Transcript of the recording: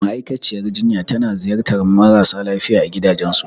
Ma'aikaciyar jinya tana ziyartar marasa lafiya a gidajensu.